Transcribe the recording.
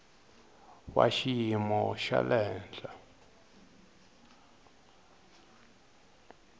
wa xiyimo xa le henhla